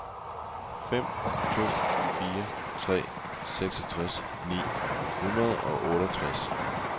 fem to fire tre seksogtres ni hundrede og otteogtres